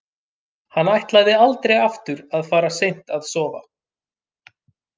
Hann ætlaði aldrei aftur að fara seint að sofa.